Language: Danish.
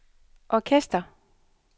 orkester